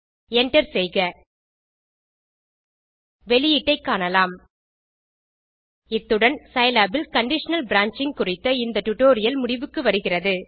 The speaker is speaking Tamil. enter செய்க வெளியீட்டைக் காணலாம் இத்துடன் சிலாப் இல் கண்டிஷனல் பிரான்ச்சிங் குறித்த ஸ்போக்கன் டியூட்டோரியல் முடிவுக்கு வருகிறது